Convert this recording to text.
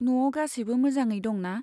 न'आव गासैबो मजाङैनो दं ना?